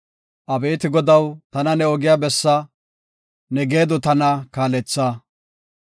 Abeeti Godaw, tana ne ogiya bessa; ne geedo tana kaaletha.